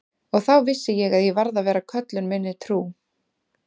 Og þá vissi ég að ég varð að vera köllun minni trú.